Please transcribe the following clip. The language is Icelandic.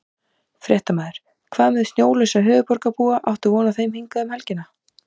Fréttamaður: Hvað með snjólausa höfuðborgarbúa, áttu von á þeim hingað um helgina?